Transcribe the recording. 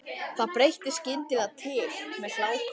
Það breytti skyndilega til með hláku.